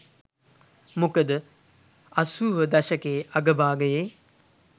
මොකද අසූව දශකයේ අග භාගයේ